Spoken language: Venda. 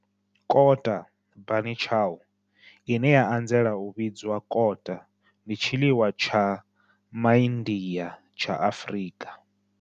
Kota, bunny chow, ine ya anzela u vhidzwa kota, ndi tshiḽiwa tsha MaIndia tsha Afrika.